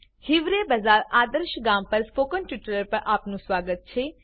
હિવરે બજાર આદર્શ ગામ પર સ્પોક્ન ટ્યુટોરિયલ પર આપનું સ્વાગત છે